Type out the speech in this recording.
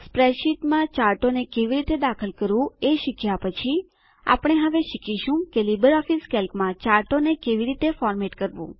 સ્પ્રેડશીટમાં ચાર્ટોને કેવી રીતે દાખલ કરવું એ શીખ્યા પછી આપણે હવે શીખીશું કે લીબરઓફીસ કેલ્કમાં ચાર્ટોને કેવી રીતે ફોર્મેટ કરવું